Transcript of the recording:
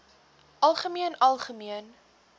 algemeen algemeen